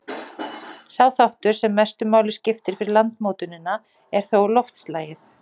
Sá þáttur, sem mestu máli skiptir fyrir landmótunina, er þó loftslagið.